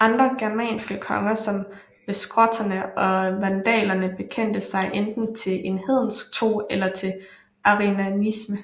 Andre germanske konger som vestgoterne og vandalerne bekendte sig enten til en hedensk tro eller til arianisme